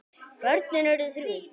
Börnin urðu þrjú.